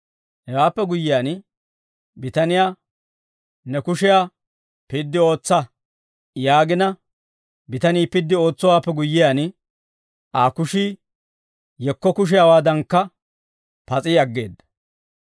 Hewaappe guyyiyaan bitaniyaa, «Ne kushiyaa piddi ootsa» yaagina bitanii piddi ootsowaappe guyyiyaan, Aa kushii yekko kushiyaawaadankka pas'i aggeedda.